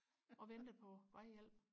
og ventede på vejhjælp